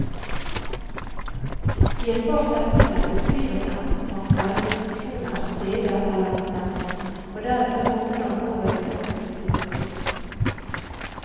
I et par setninger beskrives enten tanker, situasjoner, steder eller en stemning, og deretter hopper han over i en faktisk situasjon.